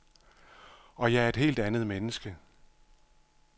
Og jeg er et helt andet menneske.